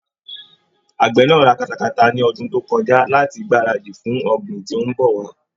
Àgbẹ̀ náà ra katakata ni ọdún tó kọjá láti gbáradì fún ọ̀gbìn tí ń bọ̀ wá.